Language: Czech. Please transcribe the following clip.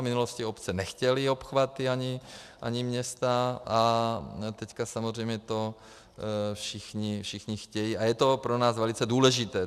V minulosti obce nechtěly obchvaty, ani města, a teď samozřejmě to všichni chtějí a je to pro nás velice důležité.